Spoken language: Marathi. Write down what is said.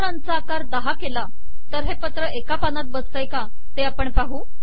अक्षरांचा आकार दहा केला तर हे पत्र एका पानात बसते का हे आपण पाहू